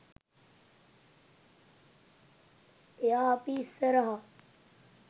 එයා අපි ඉස්සරහා